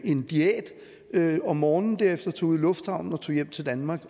en diæt om morgenen og derefter tog ud i lufthavnen og tog hjem til danmark